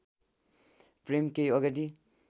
प्रेम केही अगाडि